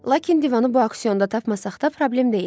Lakin divanı bu auksionda tapmasaq da problem deyildi.